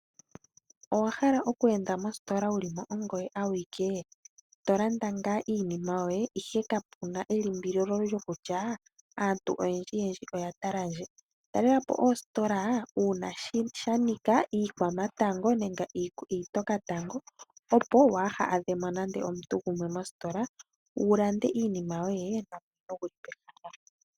Owahala okweenda mositola wuli ongoye awike tolanda iinima yoye ihe kapena elimbililo lyokutya aantu oyendji oya tala ndje. Talelapo ositola uuna shanika komatango nenge iitokatango opo waa hadhemo nande omuntu gumwe mositola wulande iinima yoye kapena okutalika.